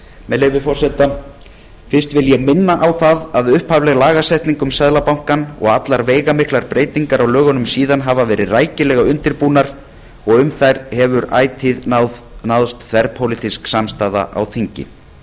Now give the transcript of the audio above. með leyfi forseta útprent af umsögn hjá prentara bs fyrst vil ég þá minna á að upphafleg lagasetning um seðlabankann og allar veigamiklar breytingar á lögunum síðan hafa verið rækilega undirbúnar og um þær hefur því ætíð náðst þverpólitísk samstaða á þingi